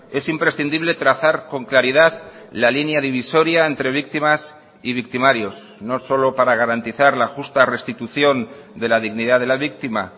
es imprescindible trazar con claridad la línea divisoria entre víctimas y victimarios no solo para garantizar la justa restitución de la dignidad de la víctima